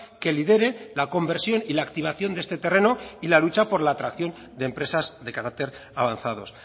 que lidere la conversión y la activación de este terreno y la lucha por la atracción de empresas de carácter avanzados